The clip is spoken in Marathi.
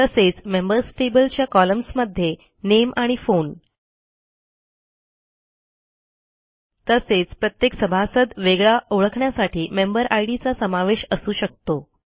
तसेच मेंबर्स टेबल च्या कॉलम्समध्ये नामे आणि फोन तसेच प्रत्येक सभासद वेगळा ओळखण्यासाठी मेंबर इद चा समावेश असू शकतो